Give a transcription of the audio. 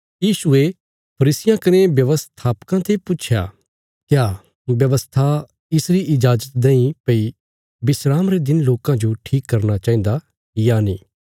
यीशुये फरीसियां कने व्यवस्थापकां ते पुच्छया क्या व्यवस्था इसरी इजाजत देईं भई विस्राम रे दिन लोकां जो ठीक करना चाहिन्दा या नीं